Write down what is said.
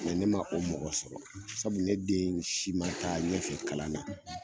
ne ma o mɔgɔ sɔrɔ sabu ne den si ma taa ɲɛfɛ kalan na.